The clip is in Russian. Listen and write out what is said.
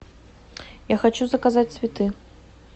я хочу заказать цветы